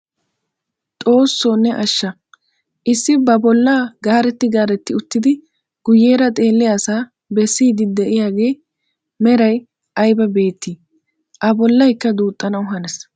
Xoossoo ne asha issi ba bollaa garettii garettii uttidi guyeera xeelliyaa asaa bessiidi de'iyaagaa meray ayba beettii! a bollaykka duuxxanawu hanees.